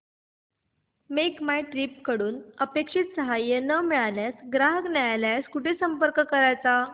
make My Trip कडून अपेक्षित सहाय्य न मिळाल्यास ग्राहक न्यायालयास कुठे संपर्क करायचा